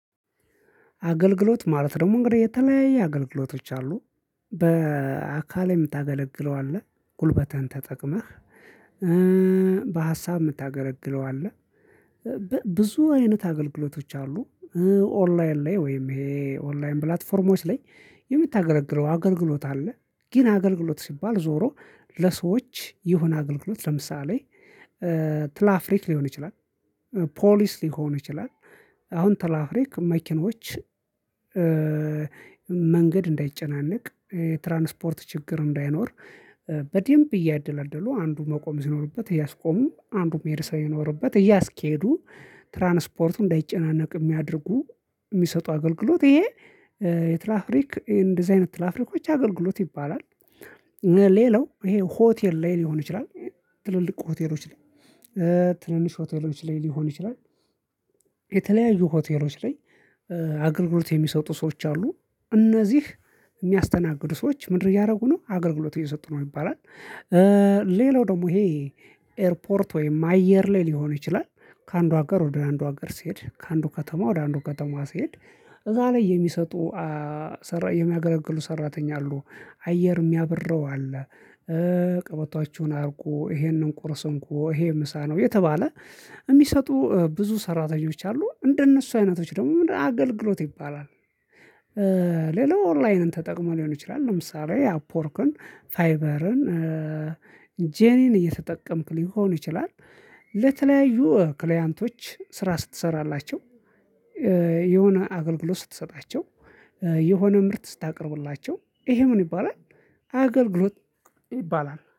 አገልግሎት ማለት ደግሞ እንግዲህ የተለያየ አገልግሎቶች አሉ በአካል የምታገለግለው አለ ጉልበትህን ተጠቅመህ በሀሳብ የምታገለግለው አለ ብዙ አይነት አገልግሎቶች አሉ። ኦንላይን ላይ ወይም ይሄ ኦንላይን ፕላትፎርሞች ላይ የምታገለግለው አገልግሎት አለ። ግን አገልግሎት ሲባል ዞሮ ለሰዎች የሆነ አገልግሎት ለምሳሌ ትላፍሪክ ሊሆን ይችላል። ፖሊስ ሊሆን ይችላል። አሁን ትላፍሪክ መኪኖች መንገድ እንዳይጨናነቅ የትራንስፖርት ችግር እንዳይኖር በደንብ እያደላደሉ አንዱ መቆም ሲኖርበት እያስቆሙ አንዱ መሄድ ሰው የኖረበት እያስኬዱ እንዳይጨናነቅ የሚያደርጉ የሚሰጡ አገልግሎት ይሄ የትላፍሪክ እንደዚህ አይነት ትላፍሪኮች አገልግሎት ይባላል። ሌላው ይሄ ሆቴል ላይ ሊሆን ይችላል ትልልቁ ሆቴሎች ላይ ትንንሽ ሆቴሎች ላይ ሊሆን ይችላል የተለያዩ ሆቴሎች ላይ አገልግሎት የሚሰጡ ሰዎች አሉ እነዚህ የሚያስተናግዱ ሰዎች ምንድነው እያደረጉ ነው አገልግሎት እየሰጡ ነው ይባላል። ሌላው ደግሞ ይሄ ኤርፖርት ወይም አየር ላይ ሊሆን ይችላል ከአንዱ ሀገር ወደ አንዱ ሀገር ሲሄድ ከአንዱ ከተማ ወደ አንዱ ከተማ ሲሄድ እዛ ላይ የሚሰጡ የሚያገለግሉ ሰራተኛ አሉ አየር የሚያብረው አለ ቀበቷችሁን አርጉ ይሄንን ቁርስ እንኮ ይሄ ምሳ ነው የተባለ የሚሰጡ ብዙ ሰራተኞች አሉ እንደነሱ አይነቶች ደግሞ ምንድነው አገልግሎት ይባላል። ሌላው ኦንላይንን ተጠቅሞ ሊሆን ይችላል ለምሳሌ አፕወርክን ፋይበርን ጄኒን እየተጠቀምክ ሊሆን ይችላል ለተለያዩ ክሊያንቶች ስራ ስትሠራላቸው የሆነ አገልግሎት ስትሰጣቸው የሆነ ምርት ስታቀርብላቸው ይሄ ምን ይባላል አገልግሎት ይባላል